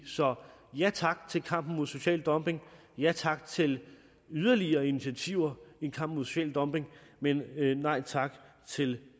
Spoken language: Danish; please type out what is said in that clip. så ja tak til kampen mod social dumping ja tak til yderligere initiativer i kampen mod social dumping men nej tak til